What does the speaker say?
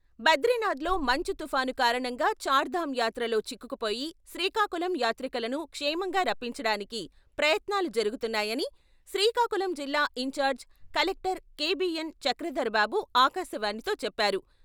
బ్రదీనాథ్‌లో మంచు తుఫాను కారణంగా చార్ధామ్ యాత్రలో చిక్కుకుపోయి శ్రీకాకుళం యాత్రికులను క్షేమంగా రప్పించడానికి ప్రయత్నాలు జరుగుతున్నాయని శ్రీకాకుళం జిల్లా ఇంచార్జ్ కలెక్టర్ కె.బి.ఎన్.చక్రధరబాబు ఆకాశవాణితో చెప్పారు.